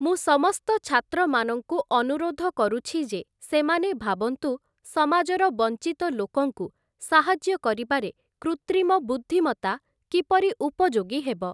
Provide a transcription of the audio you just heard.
ମୁଁ ସମସ୍ତ ଛାତ୍ରମାନଙ୍କୁ ଅନୁରୋଧ କରୁଛି ଯେ ସେମାନେ ଭାବନ୍ତୁ ସମାଜର ବଞ୍ଚିତ ଲୋକଙ୍କୁ ସାହାଯ୍ୟ କରିବାରେ କୁତ୍ରିମ ବୁଦ୍ଧିମତା କିପରି ଉପଯୋଗୀ ହେବ ।